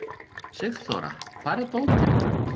Sigþóra, hvar er dótið mitt?